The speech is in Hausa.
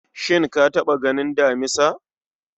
shin ka taɓa ganin damisa?